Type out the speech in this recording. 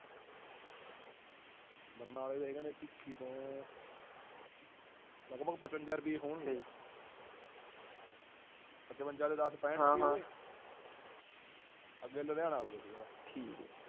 ਬਰਨਾਲੇ ਤੋਂ ਜਾਏਂਗਾ ਨਾ ਪੇਖਿ ਤੋਂ ਲਗਬਗ ਪਚਵੰਜਾ ਰੁਪਈਏ ਹੋਣਗੇ ਪਚਵੰਜਾ ਤੇ ਦਾਸ ਪੈਂਠ ਰੁਪਈਏ ਹੋਗੇ ਅੱਗੇ ਲੁਧਿਆਣਾ ਆਏਗਾ ਓੜੁ ਬਾਦ।